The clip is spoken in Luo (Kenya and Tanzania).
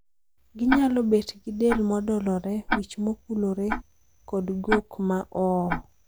Ginyalo bet gi del modolore, wich mokulore kod gok ma oo.